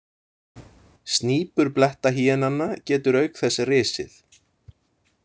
Snípur blettahýenanna getur auk þess risið.